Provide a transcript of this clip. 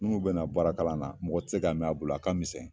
Minnu bɛ na baarakalan na mɔgɔ tɛ se ka mɛn a bolo a ka misɛn.